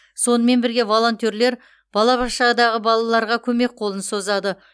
сонымен бірге волонтерлер балабақшадағы балаларға көмек қолын созады